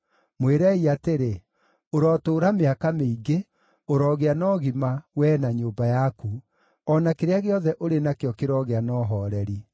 Mwĩrei atĩrĩ; ‘Ũrotũũra mĩaka mĩingĩ! Ũrogĩa na ũgima, wee na nyũmba yaku! O na kĩrĩa gĩothe ũrĩ nakĩo kĩroogĩa na ũhooreri!